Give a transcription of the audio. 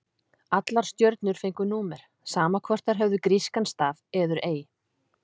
Allar stjörnur fengu númer, sama hvort þær höfðu grískan staf eður ei.